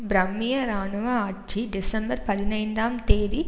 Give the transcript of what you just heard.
பர்மிய இராணுவ ஆட்சி டிசம்பர் பதினைந்தாம் தேதி